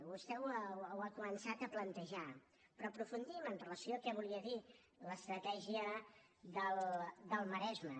vostè ho ha començat a plantejar però aprofundim amb relació a què volia dir l’ estratègia del maresme